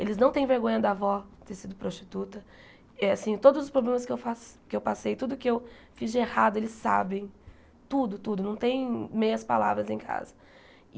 Eles não têm vergonha da avó ter sido prostituta, é assim todos os problemas que eu faço que eu passei, tudo que eu fiz de errado, eles sabem tudo, tudo, não tem meias palavras em casa.